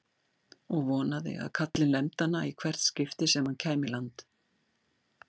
Og vonaði að kallinn lemdi hana í hvert skipti sem hann kæmi í land!